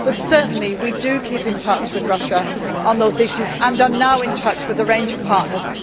but certainly, we do keep in touch with Russia on those issues and are now in touch with a range of partners.